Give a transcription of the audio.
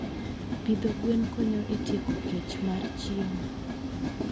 Pidho gwen konyo e tieko kech mar chiemo.